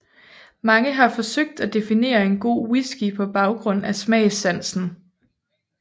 Mange har forsøgt at definere en god whisky på baggrund af smagssansen